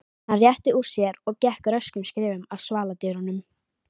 Hann rétti úr sér og gekk röskum skrefum að svaladyrunum.